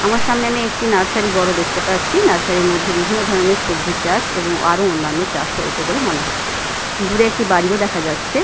আমার সামনে আমি একটি নার্সারী বড় দেখতে পাচ্ছি নার্সারি -এর মধ্যে বিভিন্ন ধরনের সবজি চাষ এবং আরো অন্যান্য চাষ হয়েছে বলে মনে হচ্ছে দূরে একটি বাড়িও দেখা যাচ্ছে।